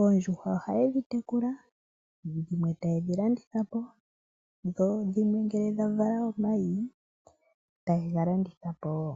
Oondjuhwa ohaye dhi tekula, dho dhimwe taye dhi landitha po, dho dhimwe ngele dha vala omayi taye ga landitha po wo.